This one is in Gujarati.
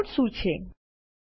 કેલઆઉટ્સ શું છે